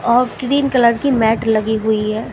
Green colour की mat लगी हुई है।